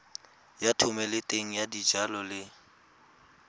ya thomeloteng ya dijalo le